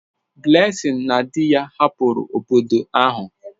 Blessing na di ya hapụrụ obodo ahụ.